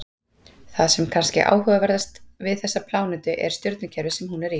Það sem er kannski áhugaverðast við þessa plánetu er stjörnukerfið sem hún er í.